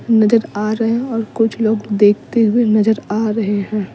नजर आ रहे हैं और कुछ लोग देखते हुए नजर आ रहे हैं।